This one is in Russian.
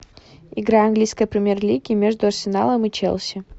игра английской премьер лиги между арсеналом и челси